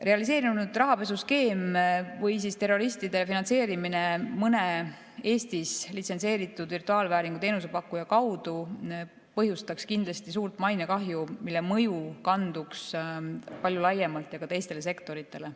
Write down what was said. Realiseerunud rahapesuskeem või terroristide finantseerimine mõne Eestis litsentseeritud virtuaalvääringu teenuse pakkuja kaudu põhjustaks kindlasti suurt mainekahju, mille mõju oleks palju laiem ja kanduks ka teistele sektoritele.